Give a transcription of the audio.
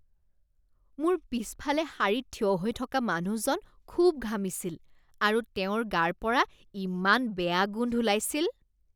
মোৰ পিছফালে শাৰীত থিয় হৈ থকা মানুহজন খুব ঘামিছিল আৰু তেওঁৰ গাৰপৰা ইমান বেয়া গোন্ধ ওলাইছিল।